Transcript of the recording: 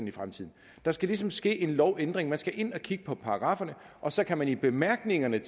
i fremtiden der skal ligesom ske en lovændring man skal ind og kigge på paragrafferne og så kan man i bemærkningerne